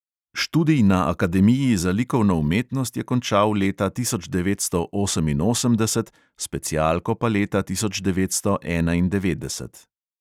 Študij na akademiji za likovno umetnost je končal leta tisoč devetsto oseminosemdeset, specialko pa leta tisoč devetsto enaindevetdeset.